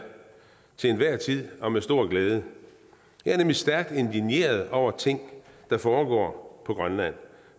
til enhver tid og med stor glæde jeg er nemlig stærkt indigneret over ting der foregår på grønland